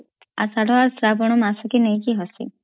ଅସାଢ଼ ସ୍ରାବନ ମାସକୁ ନେଇକୀ ଆସେ